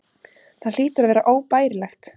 Það hlýtur að vera óbærilegt.